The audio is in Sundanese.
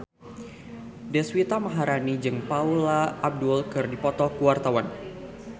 Deswita Maharani jeung Paula Abdul keur dipoto ku wartawan